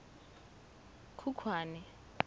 khukhwane